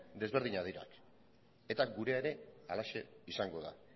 ezberdinak dira eta gurea ere halaxe izango da